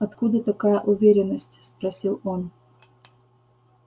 откуда такая уверенность спросил он